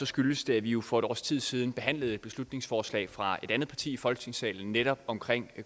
skyldes det at vi jo for et års tid siden behandlede et beslutningsforslag fra et andet parti i folketingssalen netop omkring